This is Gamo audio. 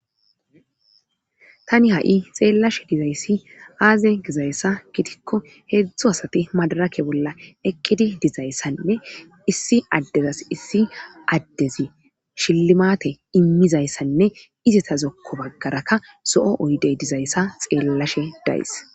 Tani ha7i xeellashe dizayssi aaze gizayssa gitikko heedzdzo asati madarake bolla eqqidi dizayssanne issi addezas issi addezi shillimate immizayssanne izeta zokko baggarakka zo7o oydey dizayssa xeellashe dayys.